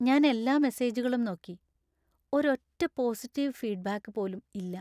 ഞാൻ എല്ലാ മെസേജുകളും നോക്കി; ഒരൊറ്റ പോസിറ്റീവ് ഫീഡ്ബാക്ക് പോലും ഇല്ല.